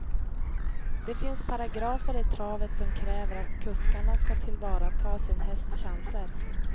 Det finns paragrafer i travet som kräver att kuskarna ska tillvarata sin hästs chanser.